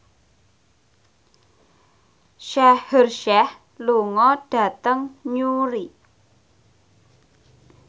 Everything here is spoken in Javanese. Shaheer Sheikh lunga dhateng Newry